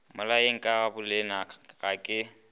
mmolayeng ka bolena ga ke